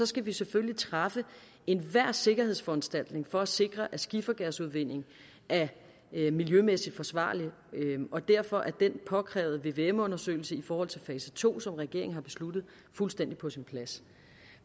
skal vi selvfølgelig træffe enhver sikkerhedsforanstaltning for at sikre at skifergasudvindingen er miljømæssigt forsvarlig og derfor er den påkrævede vvm undersøgelse i forhold til fase to som regeringen har besluttet fuldstændig på sin plads